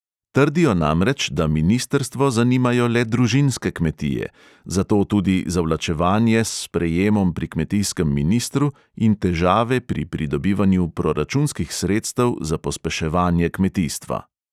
Trdijo namreč, da ministrstvo zanimajo le družinske kmetije, zato tudi zavlačevanje s sprejemom pri kmetijskem ministru in težave pri pridobivanju proračunskih sredstev za pospeševanje kmetijstva.